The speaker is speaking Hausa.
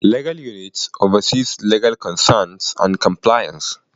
Legal Unit: Oversees legal concerns and compliance.